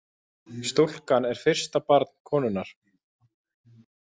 Stúlkan er fyrsta barn konunnar